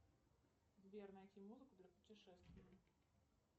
сбер найти музыку для путешествия